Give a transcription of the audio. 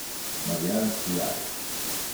Marianski jarek.